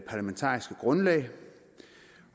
parlamentariske grundlag